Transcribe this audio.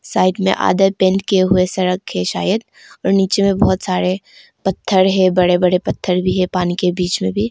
Side में आधा paint किया हुआ सड़क है शायद और नीचे में बहुत सारे पत्थर है बड़े बड़े पत्थर भी है पानी के बीच में भी।